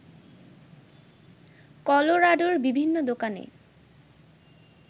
কলোরাডোর বিভিন্ন দোকানে